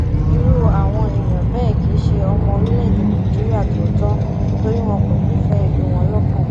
irú àwọn èèyàn bẹẹ kì í ṣe ọmọ orílẹèdè nàìjíríà tòótọ torí wọn kò nífẹẹ ìlú wọn lọkàn